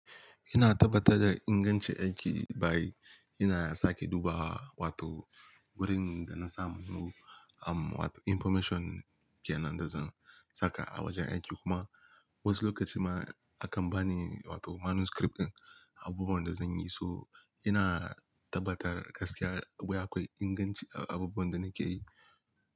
Ina tabbatar da ingancin aiki by ina sake duba wato wurin da na samu um wato information kenan da zan saka a wajen aiki kuma wasu lokaci ma akan bani wato manuscript ɗin abubuwan da zan yi so ina tabbatar gaskiya wai akwai inganci a abubuwan da nake yi.